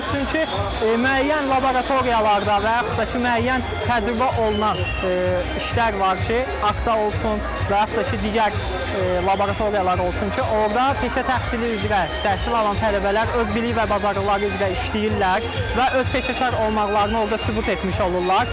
Çünki müəyyən laboratoriyalarda və yaxud da ki, müəyyən təcrübə olunan işlər var ki, apteka olsun və yaxud da ki, digər laboratoriyalar olsun ki, orda peşə təhsili üzrə təhsil alan tələbələr öz bilik və bacarıqları üzrə işləyirlər və öz peşəkar olmaqlarını orda sübut etmiş olurlar.